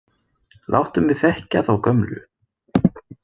Láttu mig þekkja þá gömlu!